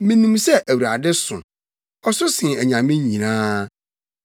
Minim sɛ Awurade so; Ɔso sen anyame nyinaa.